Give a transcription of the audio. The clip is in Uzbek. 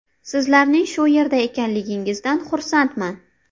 Sizlarning shu yerda ekanligingizdan xursandman.